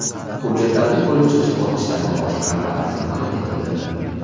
hujjatlarni ko‘rib chiqish bosqichlari va boshqalar batafsil bayon etildi.